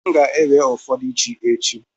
M ga-ewe ụfọdụ ji echi.